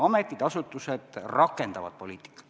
Ametid ja asutused rakendavad poliitikat.